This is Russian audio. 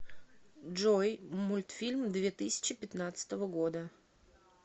джой мультфильм две тысячи пятнадцатого года